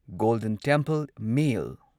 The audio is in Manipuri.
golden temple mail